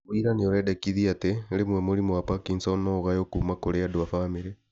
Wĩira nĩũrendekithia atĩ , rĩmwe mũrimũ wa Parkinsons no ũgaywo kuma kũri andũ a bamĩrĩ